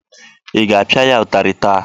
Ị ga-apịa ya ụtarị taa?